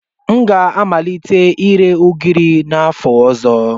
M ga-amalite ire ugiri n'afọ ọzọ.